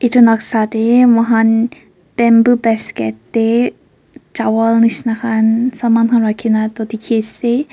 etu noksa te moihan bamboo basket te chawal neshina khan saman khan rakhikena tu dekhi ase.